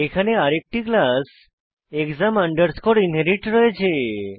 এখানে আরেকটি class exam underscore inherit রয়েছে